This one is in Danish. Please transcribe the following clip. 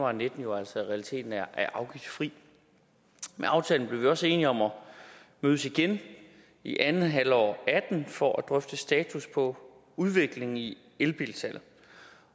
og nitten jo altså i realiteten er afgiftsfri med aftalen blev vi også enige om at mødes igen i andet halvår af og atten for at drøfte status på udviklingen i elbilsalget